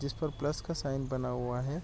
जिस पर प्लस का साइन बना हुआ है।